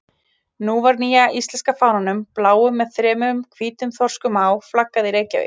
Nú var nýja íslenska fánanum, bláum með þremur hvítum þorskum á, flaggað í Reykjavík.